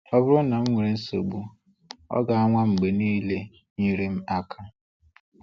Ọ bụrụ na m nwere nsogbu, ọ ga-anwa mgbe niile inyere m aka.